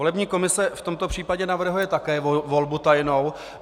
Volební komise v tomto případě navrhuje také volbu tajnou.